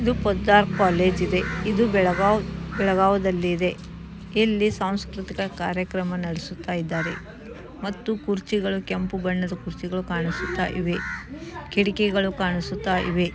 ಇದು ಹೊಷ ಕಾಲೇಜ್ ಇದೆ ಇದು ಬೆಳಗವಿದಲಿ ಇದ್ಯ ಇಲಿ ಸಂಸ್ಕೃತ ಕಾರ್ಯಕ್ರಮ ನಡೆಸುತ್ತಿದಾರೆ ಮತ್ತು ಕುರ್ಚಿ ಕೆಂಪು ಬಣ್ಣದ ಕುರ್ಚಿ ಕಾಣುತಿದ್ದವೇ ಮತ್ತು ಕಿಡಕಿ ಕಾಣುತಿದ್ದವೇ.